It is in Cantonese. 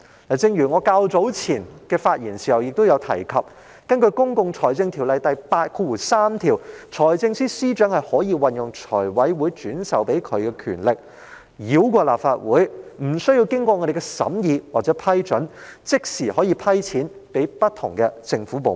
例如我較早前發言時曾提及，根據《公共財政條例》第83條，財政司司長可運用財務委員會轉授的權力，繞過立法會，無需經議員審議或批准而即時撥款予不同的政府部門。